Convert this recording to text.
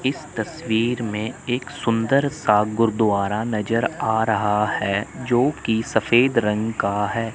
इस तस्वीर में एक सुंदर सा गुरुद्वारा नजर आ रहा है जो की सफेद रंग का है।